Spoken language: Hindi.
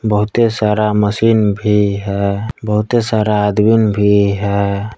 बहुते सारा मशीन भी है बहुते सारा आदमीन भी है।